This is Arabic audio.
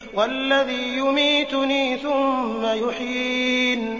وَالَّذِي يُمِيتُنِي ثُمَّ يُحْيِينِ